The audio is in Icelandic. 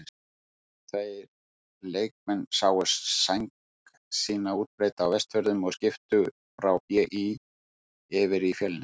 Tveir leikmenn sáu sæng sína útbreidda á Vestfjörðum og skiptu frá BÍ yfir í Fjölni.